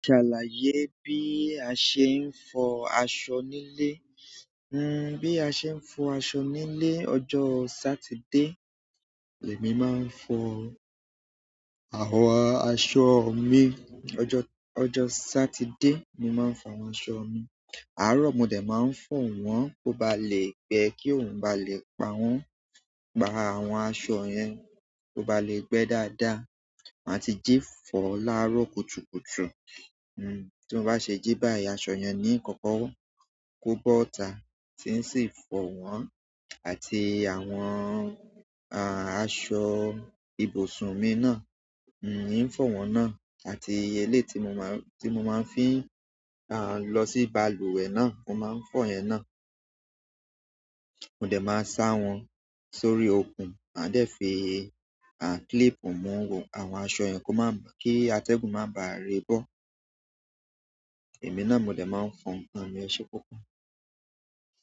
Salaye bi a se n fo aṣọ ni ile? Hmm bí a ṣe ń fọ àso nílé ọjọ́ Saturday. Èmi máa ń fọ àwọn aṣọ mi ọjọ, ọjọ́ Saturday ni màá ń fọ àwọn aṣọ mi. Àárọ̀ mòdẹ̀ máa ń fọ̀ wọ́n kó ba lè gbẹ kí òun ba lè pa wọ́n, pa àwọn aṣọ yẹn kó ba lè gbẹ́ dáadáa. Màá ti jí fọ̀ láàárọ̀ kùtùkùtù. Ti mo ba se ji bayi aṣọ yen ni nkoko ko bota ti n si fo won àti àwọn aṣọ ibusun mi náà in fọ̀ wọ́n náà àti ẹ̀léyi tí mo máa, tí mo máa fi ń à lọ sí balùwẹ̀ náà mo máa ń fọ̀ yẹn náà. Mòdẹ̀ máa sá wọn sórí okùn, màá dẹ̀ fi a clipù mu àwọn aṣọ yẹn ko má, kí atẹ́gùn má bàá re bọ́. Ẹ̀mí náà mòdẹ̀ máa ń fọn nǹkan mi.